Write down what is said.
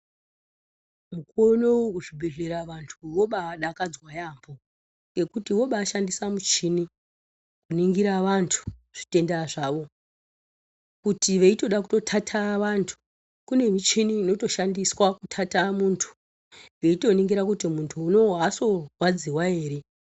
Unowu kuzvibhedhlera vobadakadzwa yaampo ngekuti vobadhandisa muchini kuningira vantu zvitenda zvawo kuti kana veitoda kutotata vantu kune michini inotoshandiswa kutata muntu yeitoningira kuti muntu unowu aosorwadziwa ere .